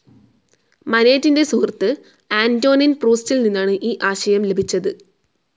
മനേറ്റിന്റെ സുഹൃത്ത് ആന്റോനിൻ പ്രൂസ്റ്റിൽ നിന്നാണ് ഈ ആശയം ലഭിച്ചത്.